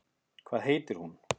Hvað heitir hún?